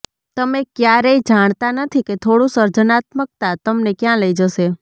તમે ક્યારેય જાણતા નથી કે થોડું સર્જનાત્મકતા તમને ક્યાં લઈ જશે